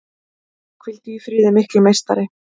Hvíldu í friði mikli meistari!